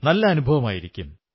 നല്ല അനുഭവമായിരിക്കും